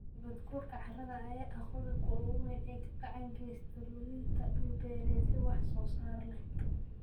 Nabaadguurka carrada ayaa ah qodobka ugu weyn ee gacan ka geysta luminta dhul-beereedyo wax soo saar leh.